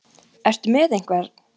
Ertu með einhvern?